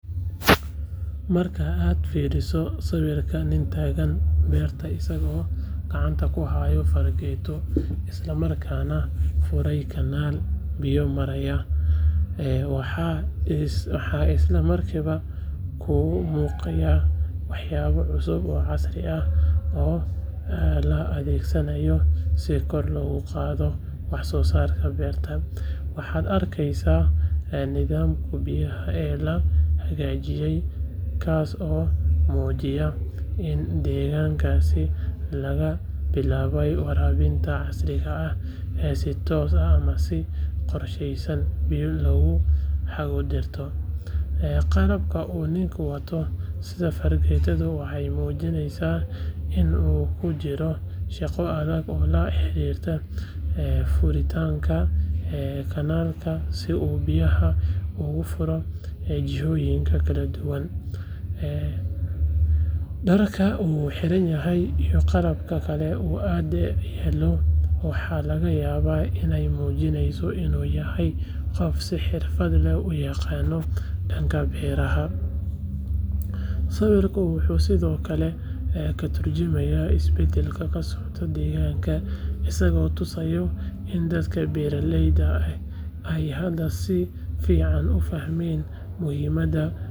Marka aad fiiriso sawirka nin taagan beerta isagoo gacanta ku haya fargeeto isla markaana furaya kanaal biyo maraya, waxaa isla markiiba kuu muuqanaya waxyaabo cusub oo casri ah oo la adeegsanayo si kor loogu qaado wax soo saarka beerta. Waxaad arkaysaa nidaamka biyaha ee la hagaajiyay kaas oo muujinaya in deegaankaas laga bilaabay waraabinta casriga ah ee si toos ah ama si qorsheysan biyo loogu hago dhirta. Qalabka uu ninku wato, sida fargeetada, waxay muujinaysaa in uu ku jiro shaqo adag oo la xiriirta furitaanka kanaalka si uu biyaha ugu furo jihooyin kala duwan. Dharka uu xiranyahay iyo qalabka kale ee ag yaal waxaa laga yaabaa inay muujinayaan in uu yahay qof si xirfad leh u yaqaan dhanka beeralayda. Sawirku wuxuu sidoo kale ka tarjumayaa isbeddelka ka socda deegaanka, isagoo tusaya in dadka beeraleyda ahi ay hadda si fiican u fahmeen muhiimadda waraabka.